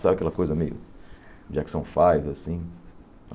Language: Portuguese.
Sabe aquela coisa meio Jackson Five, assim?